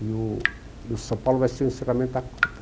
O, e o São Paulo vai ser o encerramento da Copa.